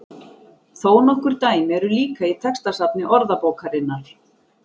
Þó nokkur dæmi eru líka í textasafni Orðabókarinnar.